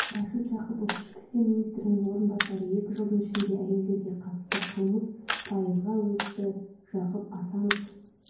рашид жақыпов ішкі істер министрінің орынбасары екі жылдың ішінде әйелдерге қатысты қылмыс пайызға өсті жақып асанов